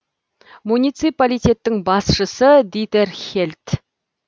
муниципалитеттің басшысы дитер хельт